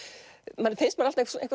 manni finnst maður alltaf